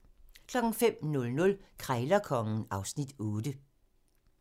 05:00: Krejlerkongen (Afs. 8)